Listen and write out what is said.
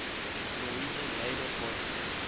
norwegian labour party